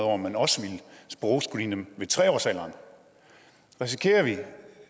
om man også ville sprogscreene dem ved tre årsalderen risikerer vi at